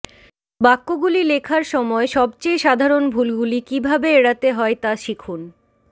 বাক্যগুলি লেখার সময় সবচেয়ে সাধারণ ভুলগুলি কীভাবে এড়াতে হয় তা শিখুন